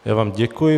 Já vám děkuji.